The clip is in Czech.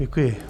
Děkuji.